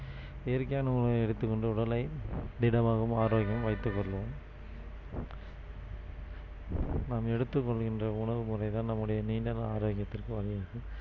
இயற்கையான உணவை எடுத்துக்கொண்டு உடலை திடமாகவும் ஆரோக்கியமும் வைத்துக் கொள்ளவும் நாம் எடுத்துக் கொள்கின்ற உணவு முறைதான் நம்முடைய நீண்ட நாள் ஆரோக்கியத்திற்கு வழிவகுக்கும்